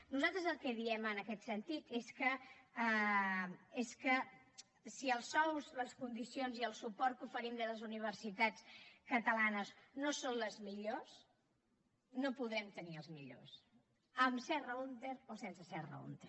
nosaltres el que diem en aquest sentit és que si els sous les condicions i el suport que oferim des de les universitats catalanes no són els millors no podrem tenir els millors amb serra húnter o sense serra húnter